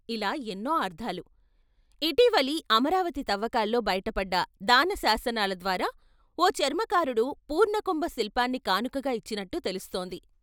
ఇలా ఎన్నో అర్ధాలు. ఇటీవలి అమరావతి తవ్వకాల్లో బయటపడ్డ దాన శాసనాలద్వారా ఓ చర్మకారుడు పూర్ణకుంభ శిల్పాన్ని కానుకగా ఇచ్చినట్టు తెలుస్తోంది.